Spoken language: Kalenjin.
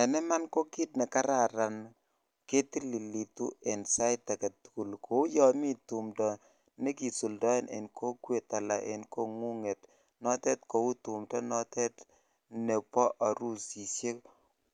En iman ko kit nekararan ketililotu en sait agetukul kou yon mii tumdo nekisuldoe en kokwet Alan en kongunget notet kou tumdo notet nebo orusishek